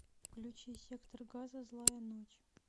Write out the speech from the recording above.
включи сектор газа злая ночь